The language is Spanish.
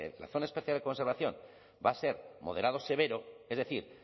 la zona de especial de conservación va a ser moderado severo es decir